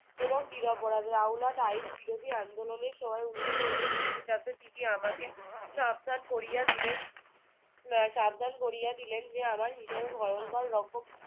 এবং নিরপরাধ রাউলাট আইন বিরোধী আন্দোলনের সময় উনিশশো উনিশ খ্রিস্টাব্দে তিনি আমাকে সাবধান করিয়া দিলেন আহ সাবধান করিয়া দিলেন যে আমার হিসাবে ভয়ঙ্কর রকম